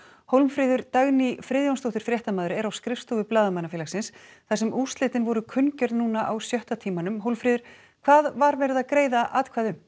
Hólmfríður Dagný Friðjónsdóttir fréttamaður er á skrifstofu Blaðamannafélagsins þar sem úrslitin voru kunngjörð á sjötta tímanum Hólmfríður hvað var verið að greiða atkvæði um